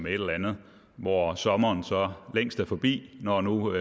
et eller andet hvor sommeren så længst er forbi når nu